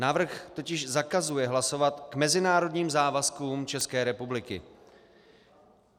Návrh totiž zakazuje hlasovat k mezinárodním závazkům České republiky.